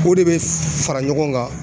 o de be fara ɲɔgɔn kan